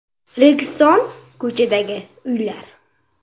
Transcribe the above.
Registon ko‘chasidagi uylar.